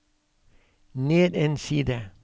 ned en side